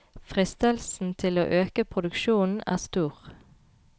Fristelsen til å øke produksjonen er stor.